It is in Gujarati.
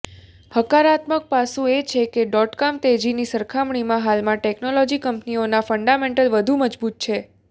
હકારાત્મક પાસું એ છે કે ડોટકોમ તેજીની સરખામણીમાં હાલમાં ટેક્નોલોજી કંપનીઓના ફંડામેન્ટલ વધુ મજબૂત છે